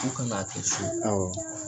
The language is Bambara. U ka ŋ'a kɛ cogodi awɔ .